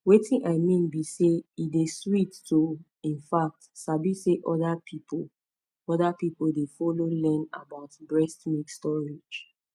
wetin i mean be say e dey sweet to in fact sabi say other people other people dey follow learn about breast milk storage